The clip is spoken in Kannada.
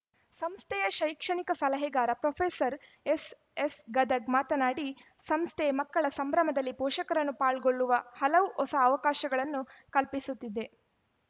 ಸಂಸ್ಥೆಯ ಶೈಕ್ಷಣಿಕ ಸಲಹೆಗಾರ ಪ್ರೊಫೆಸರ್ ಎಸ್‌ಎಸ್‌ ಗದಗ್‌ ಮಾತನಾಡಿ ಸಂಸ್ಥೆ ಮಕ್ಕಳ ಸಂಭ್ರಮದಲ್ಲಿ ಪೋಷಕರನ್ನು ಪಾಲ್ಗೊಳ್ಳುವ ಹಲವು ಹೊಸ ಅವಕಾಶಗಳನ್ನು ಕಲ್ಪಿಸುತ್ತಿದೆ